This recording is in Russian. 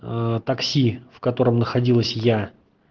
такси в котором находилась я